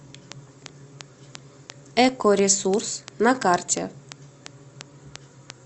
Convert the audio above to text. экоресурс на карте